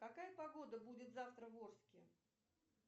какая погода будет завтра в орске